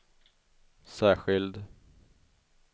särskild